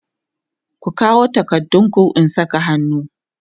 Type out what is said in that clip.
ku kawo takardun ku in Saka hannu!